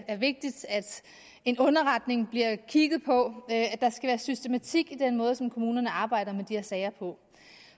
er vigtigt at en underretning bliver kigget på at der skal være systematik i den måde som kommunerne arbejder med de her sager på